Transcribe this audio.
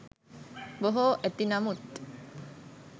බොහෝ ඇති නමුත්